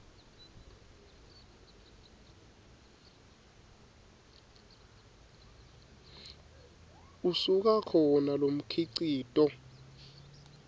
usuka khona lomkhicito